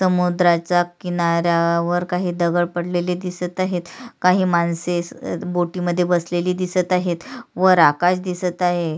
समुद्रच किनारा वर काही दगड पडलेले दिसत आहेत काही माणसे बोट मध्ये बसलेली दिसत आहेत वर आकाश दिसत आहे.